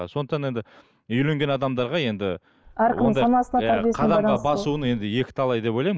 ы сондықтан енді үйленген адамдарға енді қадамға басуын енді екі талай деп ойлаймын